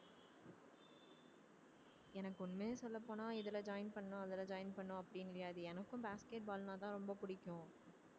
எனக்கு உண்மையை சொல்லப் போனால் இதுல join பண்ணணும் அதுல join பண்ணணும் அப்படி கிடையாது எனக்கும் basket ball ன்னாதான் ரொம்ப பிடிக்கும்